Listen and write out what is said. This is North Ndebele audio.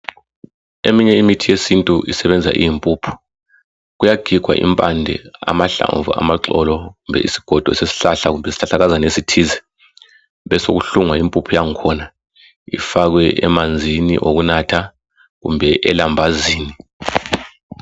Eminye imithi yesintu isebenza iyimpuphu kuyagigwa impande amahlamvu amaxolo kumbe isigodo sesihlahla kumbe isihlahlakazana esithize besokuhlungwa impuphu yakhona ifakwe emanzini okunatha kumbe elambazini.